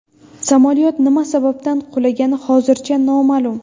Samolyot nima sababdan qulagani hozircha noma’lum.